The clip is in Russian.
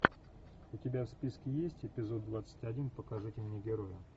у тебя в списке есть эпизод двадцать один покажите мне героя